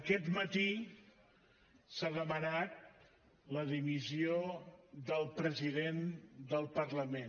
aquest matí s’ha demanat la dimissió del president del parlament